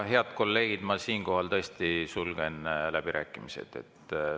Head kolleegid, ma siinkohal tõesti sulgen läbirääkimised.